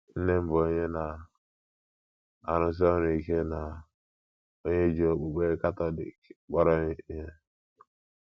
Nne m bụ onye na - arụsi ọrụ ike na onye ji okpukpe Katọlik kpọrọ ihe.